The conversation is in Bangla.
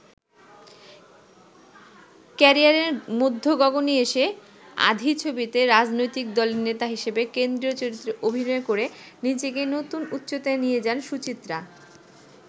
ক্যারিয়ারের মধ্যগগণে এসে ‘আঁধি’ ছবিতে রাজনৈতিক দলের নেতা হিসেবে কেন্দ্রীয় চরিত্রে অভিনয় করে নিজেকে নতুন উচ্চতায় নিয়ে যান সুচিত্রা।